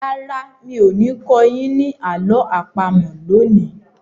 Rárá, mi ò ní kọ́ yín ní àlọ́ àpamọ̀ lónìí.